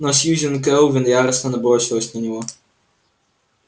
но сьюзен кэлвин яростно набросилась на него